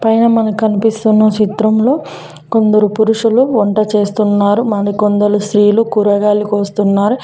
పైన మనకు కనిపిస్తున్న చిత్రంలో కొందరు పురుషులు వంట చేస్తున్నారు మరికొందలు స్త్రీలు కూరగాయలు కోస్తున్నారు.